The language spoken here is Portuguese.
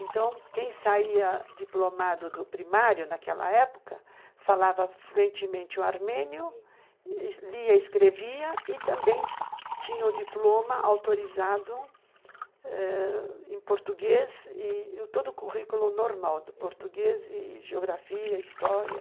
Então, quem saía diplomado do primário, naquela época, falava fluentemente o armênio, lia, escrevia e também tinha o diploma autorizado ãh em português e todo o currículo normal do português e, geografia, história.